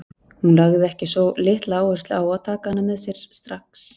Hún lagði ekki svo litla áherslu á að taka hana með sér strax.